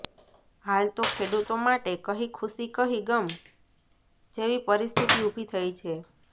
હાલ તો ખેડૂતો માટે કહી ખુશી કહી ગમ જેવી પરિસ્થિતી ઉભી થઈ છે